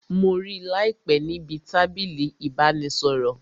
Mo rí láìpé níbi tábìlì ìbánisọ̀rọ̀